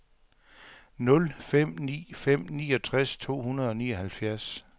nul fem ni fem niogtres to hundrede og nioghalvfjerds